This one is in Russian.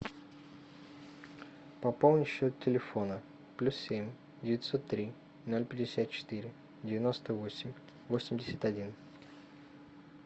пополни счет телефона плюс семь девятьсот три ноль пятьдесят четыре девяносто восемь восемьдесят один